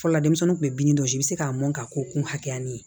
Fɔlɔ denmisɛnnin kun bɛ bin dɔ di i bi se k'a mɔn ka ko kun hakɛya min ye